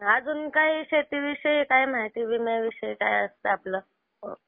अजून काही शेतीविषयी काही माहिती विम्याविषयी काय असतं आपलं.